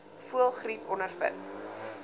voëlgriep ondervind